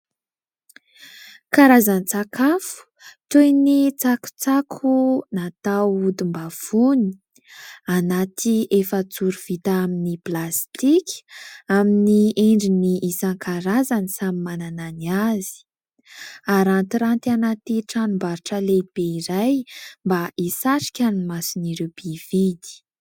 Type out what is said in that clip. Karazan-tsakafo toy ny tsakotsako natao odim-bavony, anaty efajoro vita amin'ny plastika amin'ny endriny isan-karazany samy manana ny azy ; arantiranty anaty tranombarotra lehibe iray mba hisarika ny mason'ireo mpividy.